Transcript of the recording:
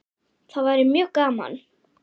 Það væri mjög gaman.